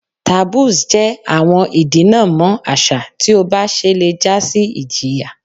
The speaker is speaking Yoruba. Taboos jẹ awọn idinamọ aṣa ti o ba ṣẹ le ja si ijiya